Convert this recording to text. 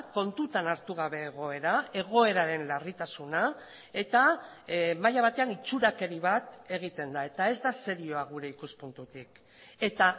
kontutan hartu gabe egoera egoeraren larritasuna eta maila batean itxurakeri bat egiten da eta ez da serioa gure ikuspuntutik eta